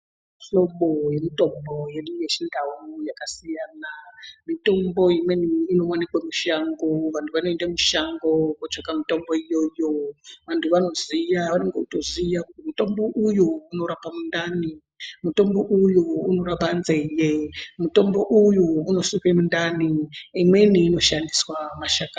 Mihlobo yemitombo yedu yechindau yakasiyana. Mitombo imweni inowanikwe mushango. Vantu vanoende mushango kootsvaka mitombo iyoyo. Vantu vanoziya vanotoziya kuti mutombo uyu unorapa mundani, mutombo uyu unorapa nzeye, mutombo uyu unosuke mundani. Imweni inoshandiswa mashakani.